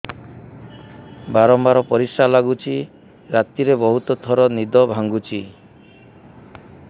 ବାରମ୍ବାର ପରିଶ୍ରା ଲାଗୁଚି ରାତିରେ ବହୁତ ଥର ନିଦ ଭାଙ୍ଗୁଛି